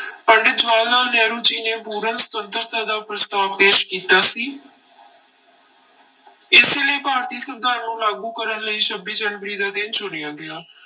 ਪੰਡਿਤ ਜਵਾਹਰ ਲਾਲ ਨਹਿਰੂ ਜੀ ਨੇ ਪੂਰਨ ਸੁਤੰਤਰਤਾ ਦਾ ਪ੍ਰਸਤਾਵ ਪੇਸ ਕੀਤਾ ਸੀ ਇਸੇ ਲਈ ਭਾਰਤੀ ਸੰਵਿਧਾਨ ਨੂੰ ਲਾਗੂ ਕਰਨ ਲਈ ਛੱਬੀ ਜਨਵਰੀ ਦਾ ਦਿਨ ਚੁਣਿਆ ਗਿਆ।